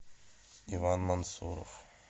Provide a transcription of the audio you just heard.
иван мансуров